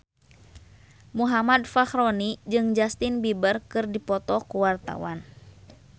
Muhammad Fachroni jeung Justin Beiber keur dipoto ku wartawan